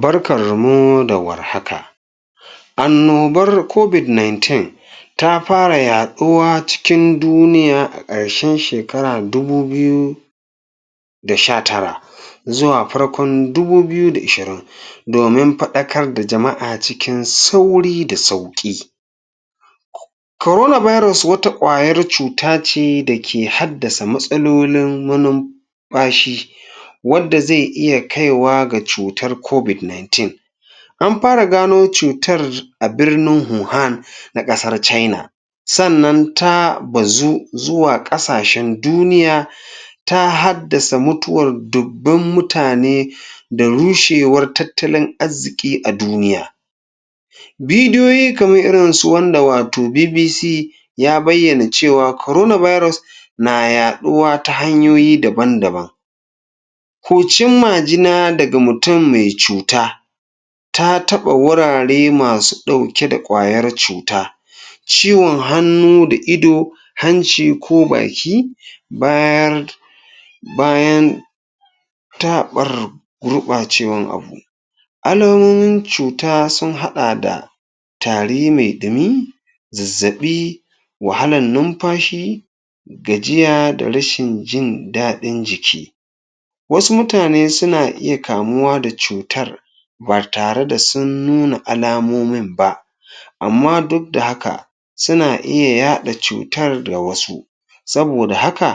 barkarmu da warhaka annobar cobic 19 ta fara yaduwa cikin duniya a karshen shekara dubu biyu da sha tara zuwa farkon dubu biyu da ishirin domin fadakar da jama'a cikin sauri da sauki corona baros wata kwayar cutace dake haddasa matsalolin manum fashi wanda ze iya kaiwa da cutar cobic 19 an fara gano cutar a birnin huhan na kasar china sa'anan ta bazu zuwa kasashen duniya ta haddasa mutuwan dubban mutane da rushewar tattalin arziki a duniya bidiyoyi kmar irinsu wanda wato BBC ya bayyana cewa corona biros na yaduwa ta hanyoyi daban daban huccin majina daga mutum mai cuta ta taba wurare masu dauke da kwayar cuta ciwon hannu da ido hanci ko baki bayan ta barr gurbacewan abu alamomin cuta sun hada da tari mai dumi zazzaɓi wahalan numfashi gajiya da rashin jin ɗadi jiki wasu mutane suna iya kamuwa da cutar ba tareda sun nuna alamomin ba amma duk da haka suna iya yaɗa cutar da wasu saboda haka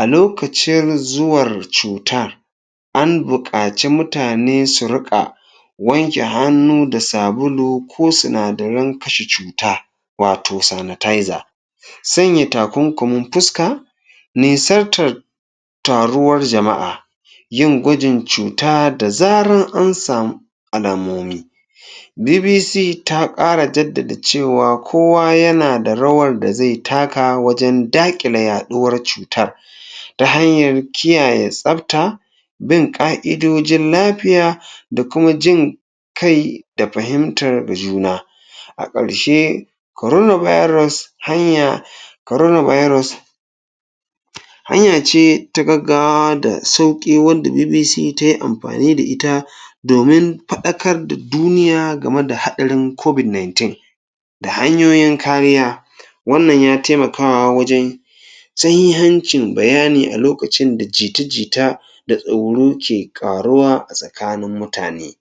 alokacir zuwar cuta an bukaci mutane su rika wanke hannu da sabulu ko sinadarin kashe cuta wato sanitizer sanya takunkumin fuska nisartara taruwar jama'a yin gwajin cuta da zaran an samu alamomi BBC ta kara jaddada cewa kowa yanada rawar daze taka wajan dakile yaduwar wannan cutar ta hanyar kiyaye tsafta bin ka'idodin lafiya da kuma jin kai da fahimtar juna akarshe corona virus hanya corona virus hanya ce ta gaggawa da sauki wanda BBC tayi amfani da ita domin fadakar da duniya game da hadarin covic 19 da hanyoyin kariya wannan ya taimakawa wajan sahihancin bayani alokacinda jita jita da tsoro ke karuwa asakanin mutane